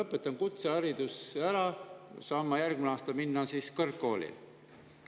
Kui ma kutsehariduse, kas ma saan järgmisel aastal minna kõrgkooli?